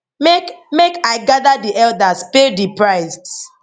make make i gather di elders pay di price